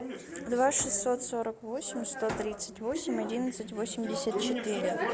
два шестьсот сорок восемь сто тридцать восемь одиннадцать восемьдесят четыре